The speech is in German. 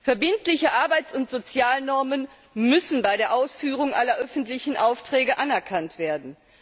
Verbindliche Arbeits und Sozialnormen müssen bei der Ausführung aller öffentlichen Aufträge anerkannt werden.